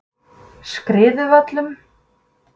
Skriðuvöllum